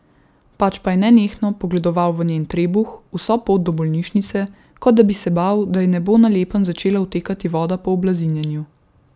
Pač pa je nenehno pogledoval v njen trebuh, vso pot do bolnišnice, kot da bi se bal, da ji ne bo na lepem začela odtekati voda po oblazinjenju.